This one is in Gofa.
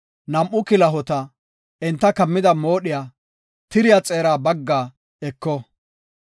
nam7u kilahota, enta kammida moodhiya tiriya xeera baggaa eko.